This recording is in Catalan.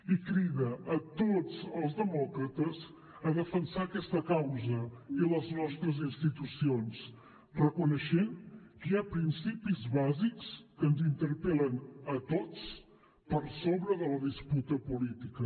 i crida a tots els demòcrates a defensar aquesta causa i les nostres institucions reconeixent que hi ha principis bàsics que ens interpel·len a tots per sobre de la disputa política